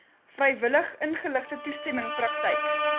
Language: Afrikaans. vrywilligingeligte toestemming praktyk